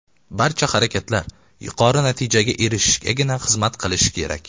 Barcha harakatlar yuqori natijaga erishishgagina xizmat qilishi kerak.